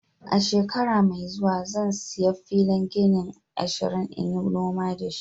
Shekara mai zuwa, zan siya filin gini ashirin n'yi noma da shi.